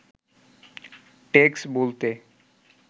tax বলতে